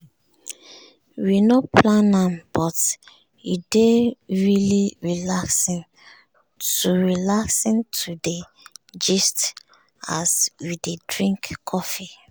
we no plan am but e dey really relaxing to relaxing to dey gist as we dey drink coffee.